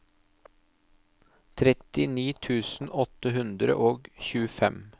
trettini tusen åtte hundre og tjuefem